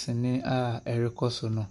sene a ɛrekɔ so no.